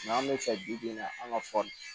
an bɛ fɛ bi bi in na an ka